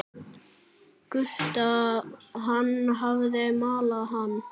Gutta, hann hafði malað hann.